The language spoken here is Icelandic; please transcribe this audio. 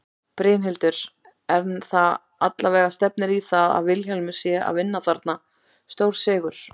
Brynhildur: En það allavega stefnir í það að Vilhjálmur sé að vinna þarna stórsigur?